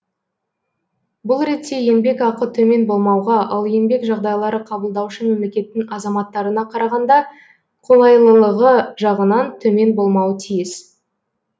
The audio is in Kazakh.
бұл ретте еңбекақы төмен болмауға ал еңбек жағдайлары қабылдаушы мемлекеттің азаматтарына қарағанда қолайлылығы жағынан төмен болмауы тиіс